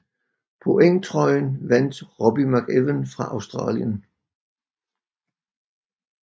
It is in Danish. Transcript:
Pointtrøjen vandt Robbie McEwen fra Australien